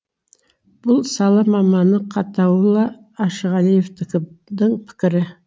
бұл сала маманы қатауолла ашығалиевтің пікірі